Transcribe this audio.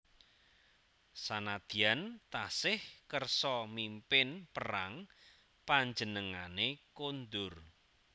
Sanadyan tasih kersa mimpin perang panjenengane kondur